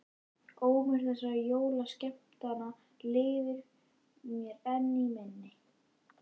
Ómur þessara jólaskemmtana lifir mér enn í minni.